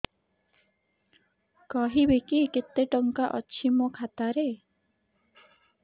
କହିବେକି କେତେ ଟଙ୍କା ଅଛି ମୋ ଖାତା ରେ